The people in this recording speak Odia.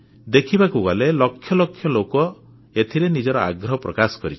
ଦେଖିବାକୁ ଗଲେ ଲକ୍ଷ ଲକ୍ଷ ଲୋକ ଏଥିରେ ନିଜର ଆଗ୍ରହ ପ୍ରକାଶ କରିଛନ୍ତି